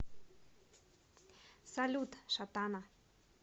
салют шатана